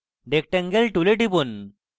rectangle tool টিপুন